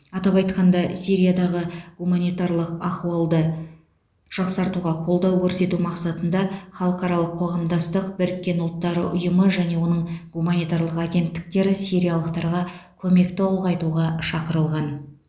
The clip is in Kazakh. атап айтқанда сириядағы гуманитарлық ахуалды жақсартуға қолдау көрсету мақсатында халықаралық қоғамдастық біріккен ұлттар ұйымы және оның гуманитарлық агенттіктері сириялықтарға көмекті ұлғайтуға шақырылған